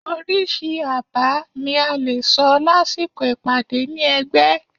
oríṣi àbá ní a lẹ sọ lásìkò ìpàdé ni ẹgbẹ